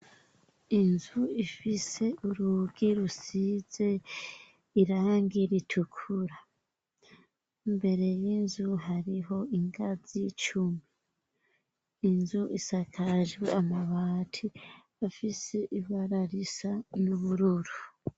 Inzu ifise urugi rusize irangi ritukura. Imbere y'inzu hariho ingazi cumi. Inzu isakajwe amabati afise ibara risa n'ubururu.